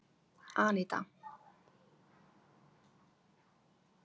Anita